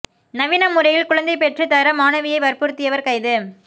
நவீன முறையில் குழந்தை பெற்றுத் தர மாணவியை வற்புறுத்தியவர் கைது